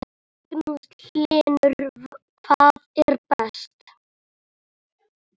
Magnús Hlynur: Hvað er best?